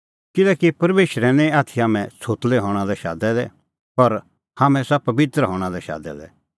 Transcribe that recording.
किल्हैकि परमेशरै निं हाम्हैं छ़ोतलै हणां लै आथी शादै दै पर हाम्हैं आसा पबित्र हणां लै शादै दै